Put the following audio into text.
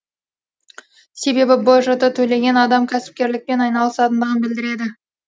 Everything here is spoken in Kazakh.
себебі бжт төлеген адам кәсіпкерлікпен айналысатындығын білдіреді